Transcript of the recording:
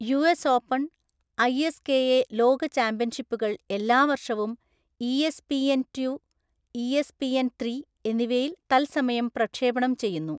US Open, ഐ സ് കെ എ ലോക ചാമ്പ്യൻഷിപ്പുകൾ എല്ലാ വർഷവും ഇഎസ്പിഎൻ റ്റു, ഇഎസ്പിഎൻ ത്രീ എന്നിവയിൽ തത്സമയം പ്രക്ഷേപണം ചെയ്യുന്നു.